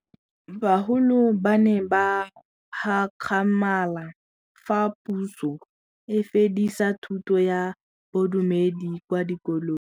Bagolo ba ne ba gakgamala fa Pusô e fedisa thutô ya Bodumedi kwa dikolong.